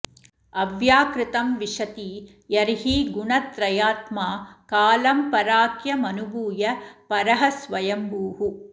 अव्याकृतं विशति यर्हि गुणत्रयात्मा कालं पराख्यमनुभूय परः स्वयम्भूः